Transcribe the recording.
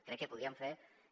crec que podríem fer que